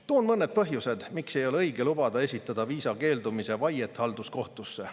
Toon mõned põhjused, miks ei ole õige lubada esitada viisa keeldumise vaiet halduskohtusse.